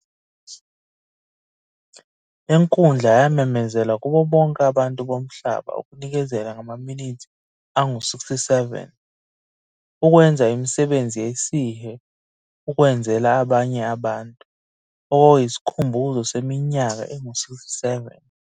Le nkulndla yamemezela kubo bonke abantu bomhlaba ukunikezela ngamaminithi angu 67, ukwenza imisebenzi yesihe ukwenzela abanye abantu, okwakuyisikhumbuzo seminyaka engu 67